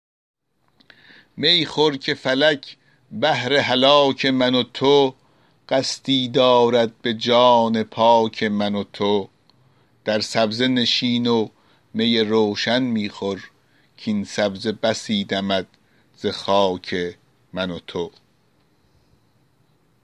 می خور که فلک بهر هلاک من و تو قصدی دارد به جان پاک من و تو در سبزه نشین و می روشن می خور کاین سبزه بسی دمد ز خاک من و تو